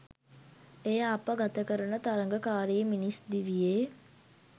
එය අප ගතකරන තරගකාරී මිනිස් දිවියේ